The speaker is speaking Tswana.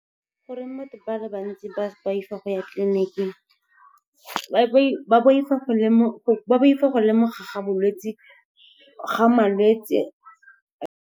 Goreng motho ba le bantsi ba boifa go ya tleliniking? Ba boifa go lemogiwa ga malwetse.